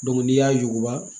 n'i y'a yuguba